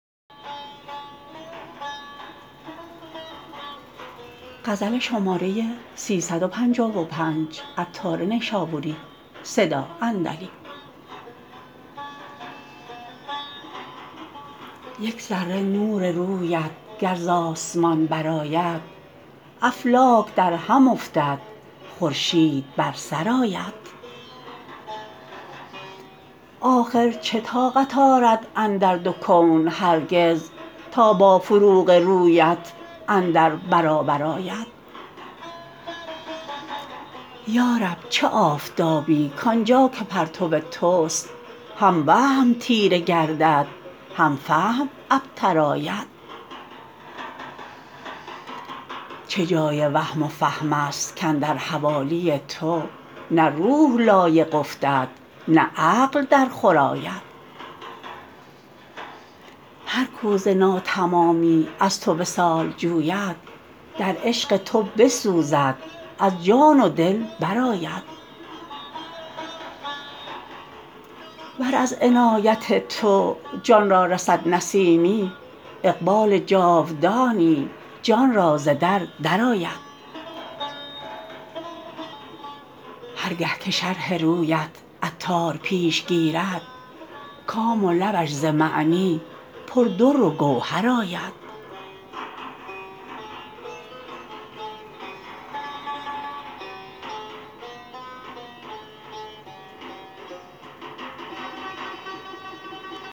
یک ذره نور رویت گر ز آسمان برآید افلاک درهم افتد خورشید بر سرآید آخر چه طاقت آرد اندر دو کون هرگز تا با فروغ رویت اندر برابر آید یارب چه آفتابی کانجا که پرتو توست هم وهم تیره گردد هم فهم ابتر آید جای چه وهم و فهم است کاندر حوالی تو نه روح لایق افتد نه عقل در خور آید هر کو ز ناتمامی از تو وصال جوید در عشق تو بسوزد از جان و دل برآید ور از عنایت تو جان را رسد نسیمی اقبال جاودانی جان را ز در درآید هرگه که شرح رویت عطار پیش گیرد کام و لبش ز معنی پر در و گوهر آید